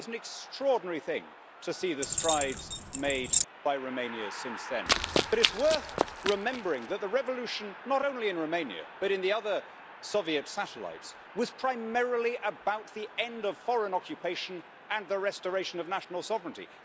It is an extraordinary thing to see the strides made by Romania since then. But it's worth remembering that the revolution, not only in Romania but in the other Soviet satellites, was primarily about the end of foreign occupation and the restoration of national sovereignty.